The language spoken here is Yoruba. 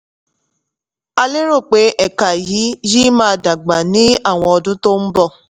a lérò pé ẹ̀ka yìí yìí máa dàgbà ní àwọn ọdún tó ń bọ̀.